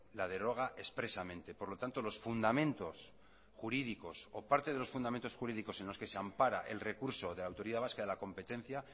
la deroga expresamente por lo tanto los fundamentos jurídicos o parte de los fundamentos jurídicos en los que se ampara el recurso de la autoridad vasca de la competencia